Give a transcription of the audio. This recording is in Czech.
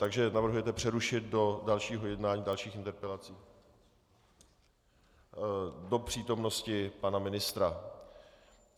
Takže navrhujete přerušit do dalšího jednání, dalších interpelací, do přítomnosti pana ministra.